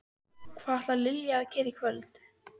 Hvað ætlar Lilja að gera í kvöld?